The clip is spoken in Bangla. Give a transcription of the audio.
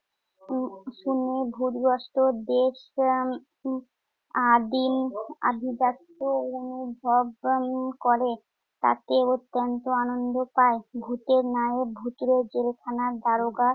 উম কোনো ভুতগ্রস্ত দেশকে আম~ উম আদিম আভিজাত্য বদ্ধমূল করে। তাতে অত্যন্ত আনন্দ পায়। ভূতের ন্যায় ভূতুড়ে জেলখানার দারোগা